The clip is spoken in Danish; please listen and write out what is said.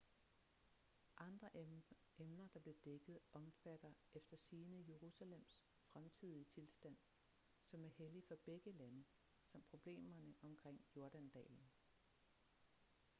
andre emner der blev dækket omfatter efter sigende jerusalems fremtidige tilstand som er hellig for begge lande samt problemerne omkring jordandalen